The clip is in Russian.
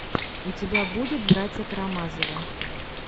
у тебя будет братья карамазовы